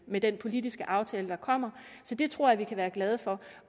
med den politiske aftale der kommer så det tror jeg vi kan være glade for